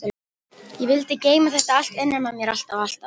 Ég vildi geyma þetta allt innra með mér alltaf alltaf.